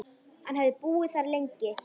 Hann hefði búið þar lengi.